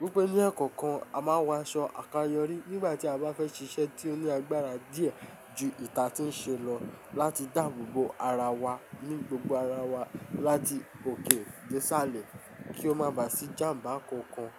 Wípé ní akọ́ko a máa ń wọ aṣọ àkáyọrí nígbà tí a bá fẹ́ ṣiṣẹ́ tí ó ní agbára díẹ̀ ju ìnti atí ń ṣe lọ, láti dàbò bo ara wa ní gbogbo ara wa láti òkè dé isàlẹ̀ kí ó má bà sí ijàm̀bá kankan.